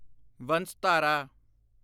Vansadhara